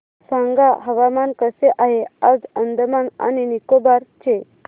सांगा हवामान कसे आहे आज अंदमान आणि निकोबार चे